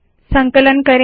संकलन करे